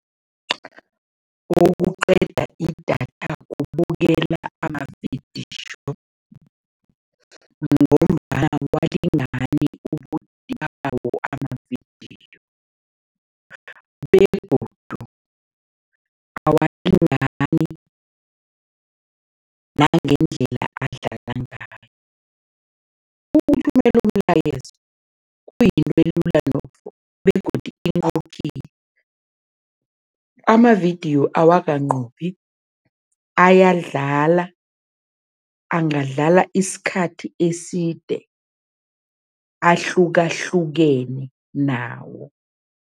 Okuqeda idatha kubukela amavidiyo ngombana amavidiyo begodu awalingani nangendlela adlala ngayo. Ukuthumela umlayezo kuyinto elula begodu . Amavidiyo awakanqophi, ayadlala, angadlala isikhathi eside, ahlukahlukene nawo.